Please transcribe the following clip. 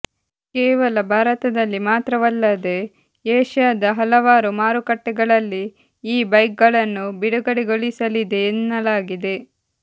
ಕೇವಲ ಭಾರತದಲ್ಲಿ ಮಾತ್ರವಲ್ಲದೆ ಏಶಿಯಾದ ಹಲವಾರು ಮಾರುಕಟ್ಟೆಗಳಲ್ಲಿ ಈ ಬೈಕ್ಗಳನ್ನು ಬಿಡುಗಡೆಗೊಳಿಸಲಿದೆ ಎನ್ನಲಾಗಿದೆ